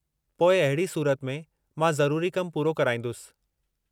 पोइ अहिड़ी सूरत में, मां ज़रूरी कमु पूरो कराईंदुसि।